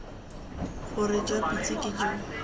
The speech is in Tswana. gore jwa pitse ke jo